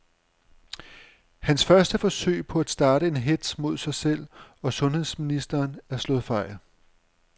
Hans første forsøg på at starte en hetz mod sig selv og sundheds ministeren er slået fejl.